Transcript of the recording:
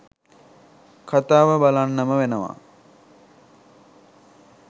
කතාව බලන්නම වෙනවා